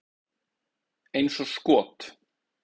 Eins og skot!